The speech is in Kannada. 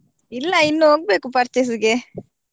ಇಲ್ಲ ಇನ್ನು ಹೋಗ್ಬೇಕು purchase ಗೆ.